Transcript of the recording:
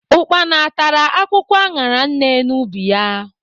Ukpana tara akwụkwọ aṅara nne n'ubi ya.